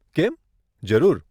કેમ, જરૂર.